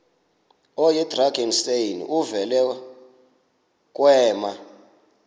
oyidrakenstein uvele kwema